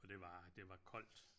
For det var det var koldt